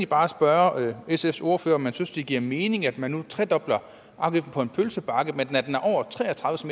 bare spørge sfs ordfører om man synes det giver mening at man nu tredobler afgiften på en pølsebakke men